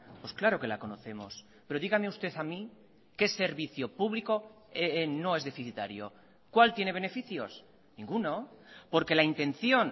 pues claro que la conocemos pero dígame usted a mí qué servicio público no es deficitario cuál tiene beneficios ninguno porque la intención